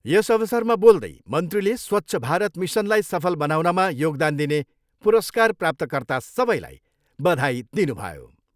यस अवसरमा बोल्दै मन्त्रीले स्वच्छ भारत मिसनलाई सफल बनाउनमा योगदान दिने पुरस्कार प्राप्तकर्ता सबैलाई बधाई दिनुभयो।